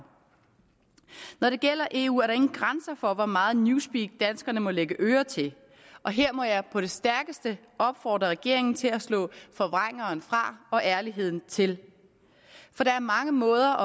når det gælder eu er der ingen grænser for hvor meget newspeak danskerne må lægge øre til og her må jeg på det stærkeste opfordre regeringen til at slå forvrængeren fra og ærligheden til for der er mange måder